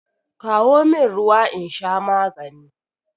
Kawo min ruwa in sha magani